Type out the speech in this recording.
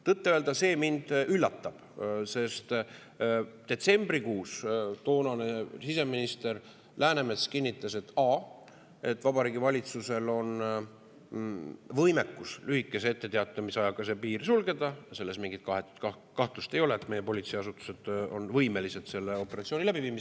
Tõtt-öelda see mind üllatab, sest detsembrikuus toonane siseminister Läänemets kinnitas, et Vabariigi Valitsusel on võimekus lühikese etteteatamisajaga see piir sulgeda, selles mingit kahtlust ei ole, et meie politseiasutused on võimelised selle operatsiooni läbi viima.